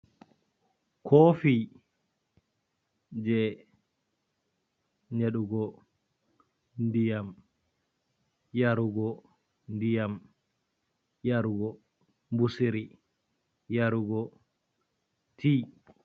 Kofi je nyeɗugo ndiyam, yarugo ndiyam, yarugo mbusiri, yarugo ti.